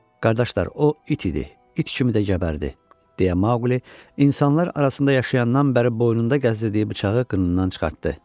"Qardaşlar, o it idi, it kimi də gəbərdi", deyə Maquli insanlar arasında yaşayandan bəri boynunda gəzdirdiyi bıçağı qındanından çıxartdı.